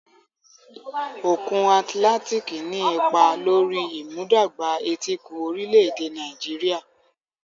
Òkun Atlantic ní ipa lórí ìmúdàgba etíkun orílẹ̀-èdè Nàìjíríà.